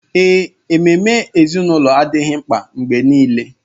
Ee, ememe ezinụlọ adịghị mkpa mgbe nile